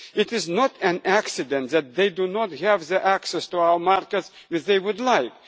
in addressing. It is not an accident that they do not have the access to our markets